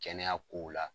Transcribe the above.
Kɛnɛya kow la